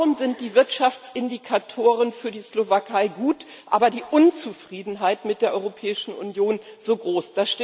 Warum sind die Wirtschaftsindikatoren für die Slowakei gut, aber die Unzufriedenheit mit der Europäischen Union so groß?